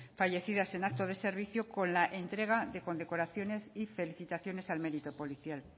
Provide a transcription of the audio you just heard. fallecidas en acto de servicio con la entrega de condecoraciones y felicitaciones al mérito policial